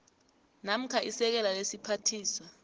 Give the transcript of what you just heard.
namkha isekela lesiphathiswa